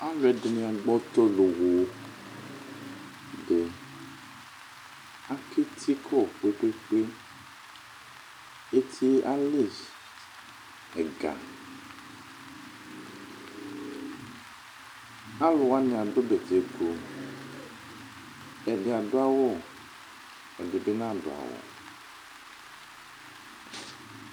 Alu ɛdɩnɩ agbɔ ɔtɔ loɣo Aka eti yɛ kɔ kpekpekpe Eti yɛ ali ɛga Alu wani adu bɛtɛkʋ Ɛdɩ adu awu, ɛdɩ bɩ nadu awu